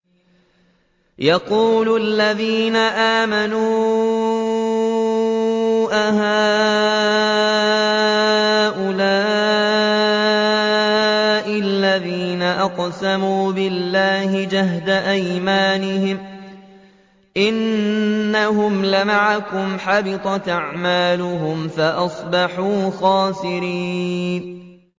وَيَقُولُ الَّذِينَ آمَنُوا أَهَٰؤُلَاءِ الَّذِينَ أَقْسَمُوا بِاللَّهِ جَهْدَ أَيْمَانِهِمْ ۙ إِنَّهُمْ لَمَعَكُمْ ۚ حَبِطَتْ أَعْمَالُهُمْ فَأَصْبَحُوا خَاسِرِينَ